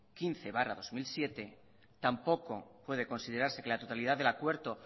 quince barra dos mil siete tampoco puede considerarse que la totalidad del acuerdo